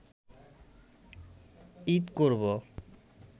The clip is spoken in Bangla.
ঈদ করব